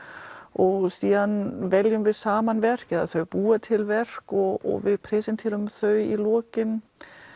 og síðan veljum við saman verk eða þau búa til verk og við presenterum þau í lokin